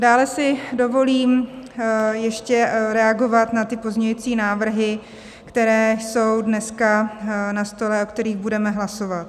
Dále si dovolím ještě reagovat na ty pozměňující návrhy, které jsou dneska na stole, o kterých budeme hlasovat.